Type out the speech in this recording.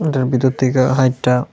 এটার ভিতর থেকা হাইট্যা--